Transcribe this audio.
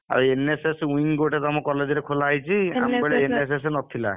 ଆଉ NSS wing ଗୋଟେ ତମ college ରେ ଖୋଲା ହେଇଛି, ଆମ ବେଳେ NSS ନ ଥିଲା।